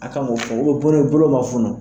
A k'an k'o fɔ bonen bolo ma funun.